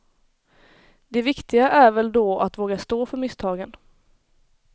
Det viktiga är väl då att våga stå för misstagen.